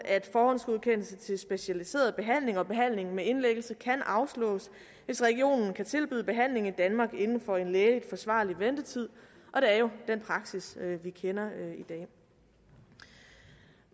at forhåndsgodkendelse til specialiseret behandling og behandling med indlæggelse kan afslås hvis regionen kan tilbyde behandling i danmark inden for en lægeligt forsvarlig ventetid og det er jo den praksis vi kender i dag